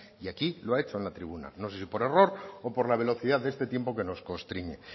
y así lo ha hecho en la tribuna no sé si por error o por la velocidad de este tiempo que nos constriñe